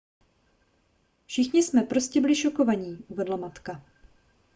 všichni jsme prostě byli šokovaní uvedla matka